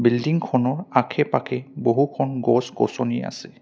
বিল্ডিংখনৰ আখে-পাখে বহুখন গছ-গছনি আছে।